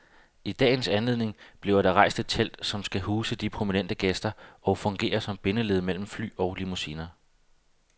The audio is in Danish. I dagens anledning bliver der rejst et telt, som skal huse de prominente gæster og fungere som bindeled mellem fly og limousiner.